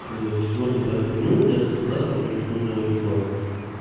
к четвёртому пятому дню у меня остаётся только насморк и мне просто нужного типа